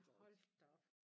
Hold da op